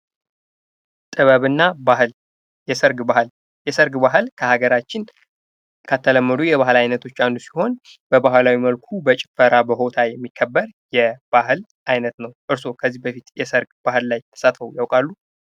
ጥበብና ባህል የሰርግ ባህል የሰርግ ባህል በሀገራችን ከተለመዱ የባህል አይነቶች አንዱ ሲሆን በባህላዊ መልኩ በጭፈራ በሆታ የሚከበር የባህል አይነት ነው። እርሶ ከዚህ በፊት የሰርግ ባህል ላይ ተሳትፎ ያውቃሉ?